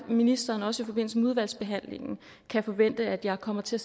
ministeren også i forbindelse med udvalgsbehandlingen kan forvente at jeg kommer til